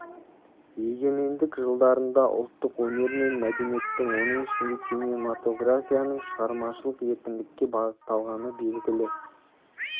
егемендік жылдарында ұлттық өнер мен мәдениеттің оның ішінде кинематографияның шығармашылық еркіндікке бағытталғаны белгілі